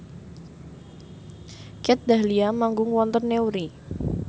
Kat Dahlia manggung wonten Newry